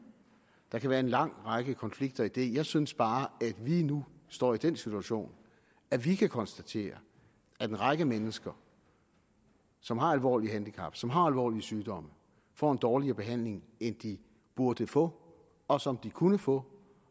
der kan være en lang række konflikter i det jeg synes bare at vi nu står i den situation at vi kan konstatere at en række mennesker som har alvorlige handicap som har alvorlige sygdomme får en dårligere behandling end de burde få og som de kunne få